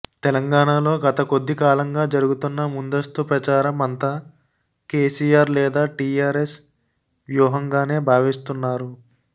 తెలంగాణలో గత కొద్దికాలంగా జరుగుతున్న ముందస్తు ప్రచారం అంతా కేసీఆర్ లేదా టీఆర్ఎస్ వ్యూహంగానే భావిస్తున్నారు